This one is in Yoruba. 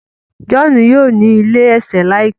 John yíò ní ilé ẹ̀tẹ̀ láìpé.